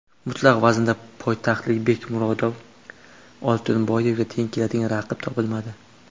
Mutlaq vaznda poytaxtlik Bekmurod Oltiboyevga teng keladigan raqib topilmadi.